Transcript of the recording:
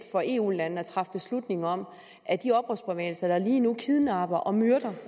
for eu landene at træffe beslutning om at de oprørsbevægelser der lige nu kidnapper og myrder